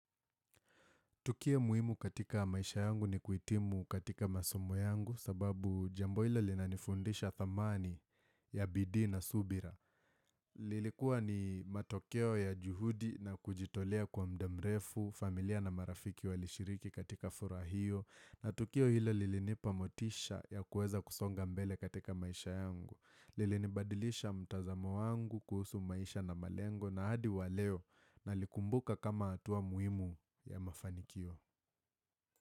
Tukio muhimu katika maisha yangu ni kuhitimu katika masomo yangu sababu jambo hilo linanifundisha thamani ya bidii na subira. Lilikuwa ni matokeo ya juhudi na kujitolea kwa muda mrefu, familia na marafiki walishiriki katika furaha hio na tukio hilo lilinipamotisha ya kueza kusonga mbele katika maisha yangu. Lilinibadilisha mtazamo wangu kuhusu maisha na malengo na hadi wa leo nalikumbuka kama hatua muhimu ya mafanikio.